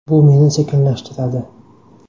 Bu meni sekinlashtiradi.